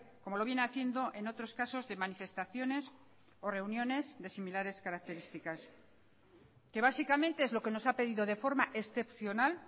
como lo viene haciendo en otros casos de manifestaciones o reuniones de similares características que básicamente es lo que nos ha pedido de forma excepcional